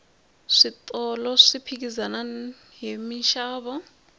switolo swi phikizana hi minxavo